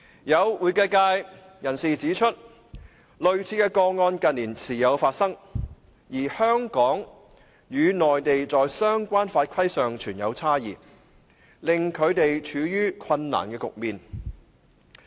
有會計界人士指出，類似的個案近年時有發生，而香港與內地在相關法規上存有差異，令他們處於困難的局面。